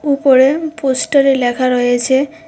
উপরে পোস্টারে লেখা রয়েছে--